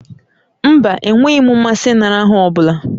Mba, enweghị m mmasị ịnara aha ọ bụla